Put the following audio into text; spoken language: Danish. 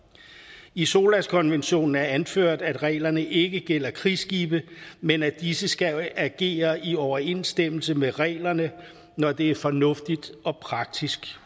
i solas konventionen er anført at reglerne ikke gælder krigsskibe men at disse skal agere i overensstemmelse med reglerne når det er fornuftigt og praktisk